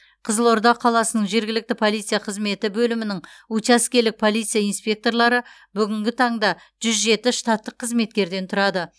қызылорда қаласының жергілікті полиция қызметі бөлімінің учаскелік полиция инспекторлары бүгінгі таңда жүз жеті штаттық қызметкерден тұрады